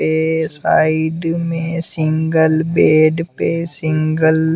यह साइड में single bed पे सिंगल --